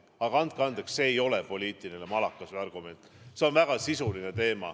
Aga andke andeks, see ei ole poliitiline malakas või argument, see on väga sisuline teema.